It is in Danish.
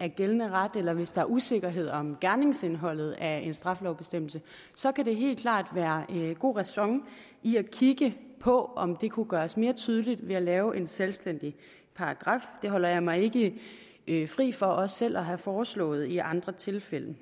af gældende ret eller hvis der er usikkerhed om gerningsindholdet af en straffelovsbestemmelse så kan der helt klart være god ræson i at kigge på om det kunne gøres mere tydeligt ved at lave en selvstændig paragraf det holder jeg mig ikke ikke fri for også selv at have foreslået i andre tilfælde